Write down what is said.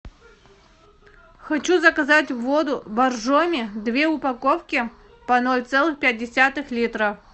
хочу заказать воду боржоми две упаковки по ноль целых пять десятых литра